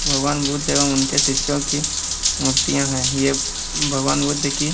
भगवान बुद्ध एवं उनके शिष्यों की मूर्तियां है यह भगवान बुद्ध की --